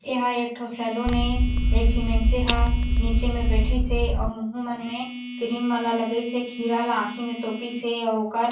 एहा एकठो सैलून ए झन मइन्से ह निचे में बैथिसे अउ मोहु मन मे क्रीम मन ल लगाइसे खीरा ल आखु म तोपी से अउ ओकर--